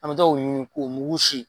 An bɛ taa o ɲini k'o mugug sin.